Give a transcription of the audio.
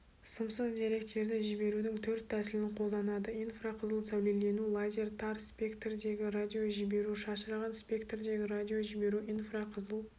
сымсыз деректерді жіберудің төрт тәсілін қолданады инфрақызыл сәулелену лазер тар спектрдегі радиожіберу шашыраған спектрдегі радиожіберу инфрақызыл